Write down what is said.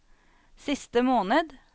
siste måned